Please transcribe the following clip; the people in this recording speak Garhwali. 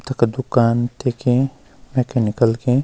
तख दूकान देखीं मैकेनिकल की।